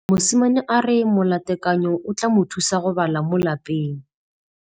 Mosimane a re molatekanyô o tla mo thusa go bala mo molapalong.